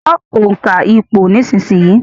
Kọ́ òǹkà ìpò nísìsiyìí